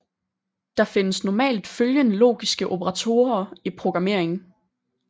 Der findes normalt følgende logiske operatorer i programmering